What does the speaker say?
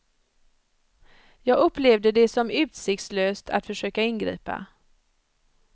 Jag upplevde det som utsiktslöst att försöka ingripa.